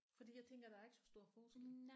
Fordi jeg tænker der er ikke så stor forskel